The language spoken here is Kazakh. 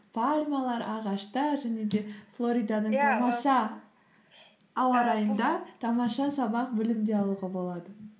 пальмалар ағаштар және де флориданың тамаша ауа райында тамаша сабақ білім де алуға болады